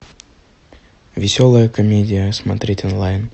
веселая комедия смотреть онлайн